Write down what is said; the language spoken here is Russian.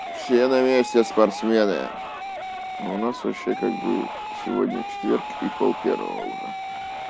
все на месте спортсмены а у нас вообще как бы сегодня четверг и полпервого уже